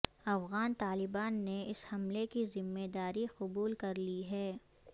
افغان طالبان نے اس حملے کی ذمہ داری قبول کر لی ہے